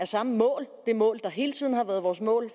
samme mål det mål hele tiden har været vores mål